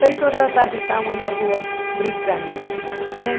Seis horas da tarde estávamos na rua brincando, né?